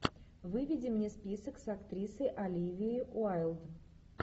выведи мне список с актрисой оливией уайлд